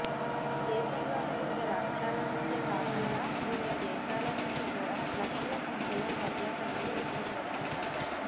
దేశంలోని వివిధ రాష్ట్రాల నుంచే కాకుండా వివిధ దేశాల నుంచి కూడా లక్షల సంఖ్యలో పర్యాటకులు ఇక్కడకు వస్తుంటారు